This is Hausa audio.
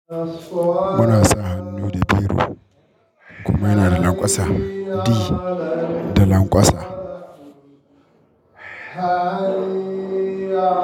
Muna sa hannu da biro kuma yana da lanƙwasa, di da lanƙwasa.